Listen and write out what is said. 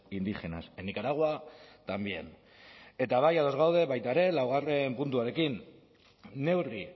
indígenas en nicaragua también eta bai ados gaude baita ere laugarren puntuarekin neurri